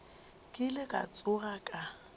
ke ile ka tsoga ka